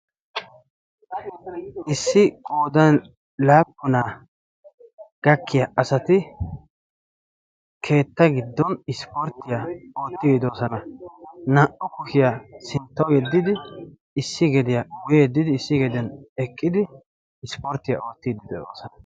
Issi goodan laappunaa gakkiya asati keetta giddon ispporttiyaa oottigidoosana. naa"u kushiyaa sinttawu yeddidi issi geediyaa wuyeddidi issi geediyan eqqidi ispporttiyaa oottiiddi dedoosana.